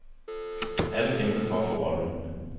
Alle kæmpede for at få rollen.